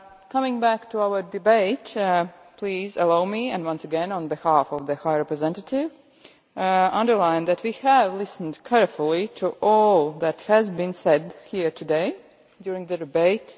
Coming back to our debate, please allow me, once again on behalf of the High Representative, to underline that we have listened carefully to all that has been said here today during the debate.